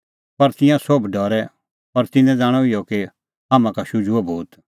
पर तिंयां सोभ डरै और तिन्नैं ज़ाणअ इहअ कि हाम्हां का शुझुअ भूत